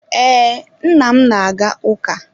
Ee, nna m na-aga ụka.